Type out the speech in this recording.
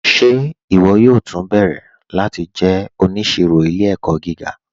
Ṣe iwọ yóò tú nbẹ̀rẹ̀ láti jẹ́ oníṣìrò ilẹ̀-ẹ̀kọ̀ gíga?